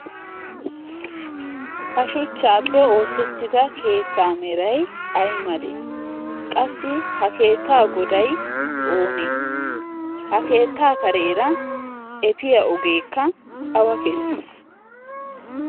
ha shuchchaappe oossettida keettaa meray ay malee? qassi ha keettaa goday oonee? ha keettaa kareera efiyaa ogeekka awa keessi?